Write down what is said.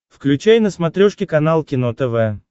включай на смотрешке канал кино тв